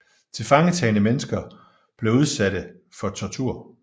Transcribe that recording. Tilfangetagne mennesker blev udsatte for tortur